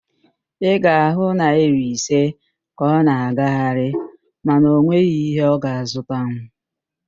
Ị ga-ahụ naịra ise ka ọ na-agagharị mana ọ nweghị ihe ọ ga-azụtanwu